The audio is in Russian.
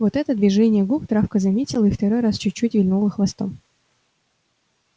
вот это движение губ травка заметила и второй раз чуть-чуть вильнула хвостом